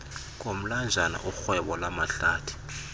komlanjana urhwebo lwamahlathi